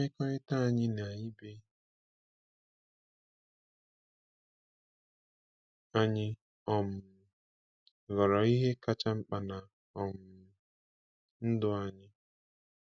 Mmekọrịta anyị na ibe anyị um ghọrọ ihe kacha mkpa na um ndụ anyị.